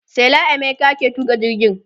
sela emeka ke tuƙa jirgin